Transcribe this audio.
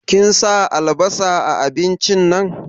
Kin sa albasa a abincin nan?